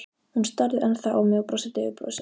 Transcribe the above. Hún starði ennþá á mig og brosti daufu brosi.